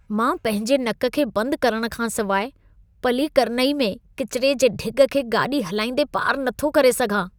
मां पंहिंजे नक खे बंदि करण खां सिवाए पल्लीकरनई में किचिरे जे ढिॻ खे गाॾी हलाईंदे पारि नथो करे सघां।